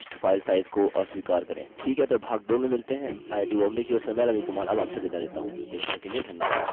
ठीक है तो भाग 2 में मिलते हैं आईआईटी बॉम्बे की ओर से मैं रवि कुमार अब आपसे विदा लेता हूँ देखने के लिए धन्यवाद